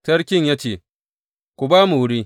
Sarkin ya ce, Ku ba mu wuri!